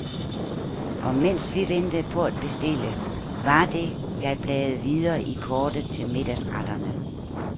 Og mens vi ventede på at bestille, var det, jeg bladede videre i kortet til middagsretterne.